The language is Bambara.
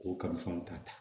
K'o kalifaw ta